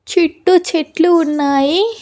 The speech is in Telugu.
చుట్టూ చెట్లు ఉన్నాయి.